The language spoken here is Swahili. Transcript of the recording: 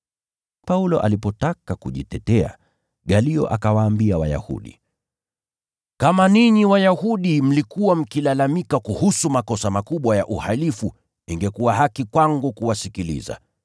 Paulo alipotaka kujitetea, Galio akawaambia Wayahudi, “Kama ninyi Wayahudi mlikuwa mkilalamika kuhusu makosa makubwa ya uhalifu ingekuwa haki kwangu kuwasikiliza.